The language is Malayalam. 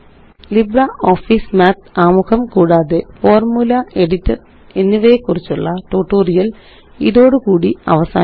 ലിബ്രിയോഫീസ് മാത്ത് ആമുഖം കൂടാതെ ഫോർമുല Editorഎനിവയെക്കുറിച്ചുള്ള ട്യൂട്ടോറിയല് ഇതോടുകൂടി അവസാനിക്കുന്നു